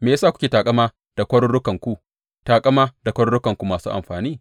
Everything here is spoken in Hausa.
Me ya sa kuke taƙama da kwarurukanku, taƙama da kwarurukanku masu amfani?